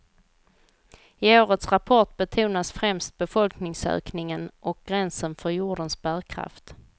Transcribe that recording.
I årets rapport betonas främst befolkningsökningen och gränsen för jordens bärkraft.